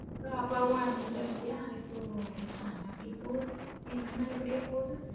அப்புறம் அப்பாவும் இறந்துட்டாரு இல்லையா இப்போ, ஆன அப்படி போகுது எல்லாம் நல்லபடியா போகுது.